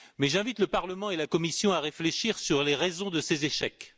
J'invite le Parlement et la Commission à réfléchir sur les raisons de ces échecs.